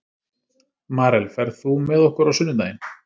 Marel, ferð þú með okkur á sunnudaginn?